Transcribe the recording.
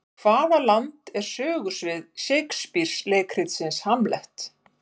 Hvaða land er sögusvið Shakespeare leikritsins Hamlet?